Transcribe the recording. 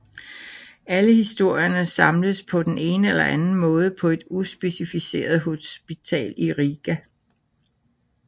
Alle historierne samles på den ene eller anden måde på et uspecificeret hospital i Riga